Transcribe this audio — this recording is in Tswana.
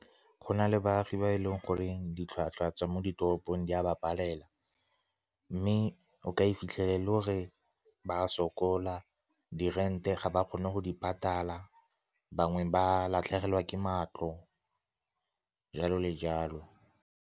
Go na le baagi ba e leng gore ditlhwatlhwa tsa mo ditoropong di a ba palelwa, mme o ka e fitlhelela e le gore ba a sokola. Di-rent-e ga ba kgone go di patala, bangwe ba latlhegelwa ke matlo, jalo le jalo.